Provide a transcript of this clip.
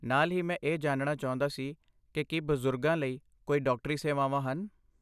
ਨਾਲ ਹੀ, ਮੈਂ ਇਹ ਜਾਣਣਾ ਚਾਹੁੰਦਾ ਸੀ ਕਿ ਕੀ ਬਜ਼ੁਰਗਾਂ ਲਈ ਕੋਈ ਡਾਕਟਰੀ ਸੇਵਾਵਾਂ ਹਨ?